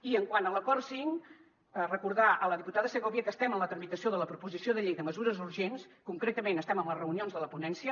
i quant a l’acord cinc recordar a la diputada segovia que estem en la tramitació de la proposició de llei de mesures urgents concretament estem en les reunions de la ponència